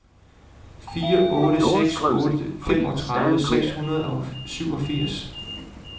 fire otte seks otte femogtredive seks hundrede og syvogfirs